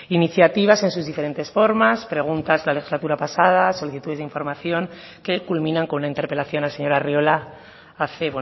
iniciativas en sus diferentes formas preguntas la legislatura pasada solicitudes de información que culminan con la interpelación al señor arriola hace